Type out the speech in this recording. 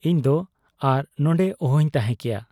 ᱤᱧᱫᱚ ᱟᱨ ᱱᱚᱱᱰᱮ ᱚᱦᱚᱧ ᱛᱟᱦᱮᱸ ᱠᱮᱭᱟ ᱾